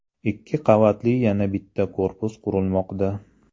Ikki qavatli yana bitta korpus qurilmoqda.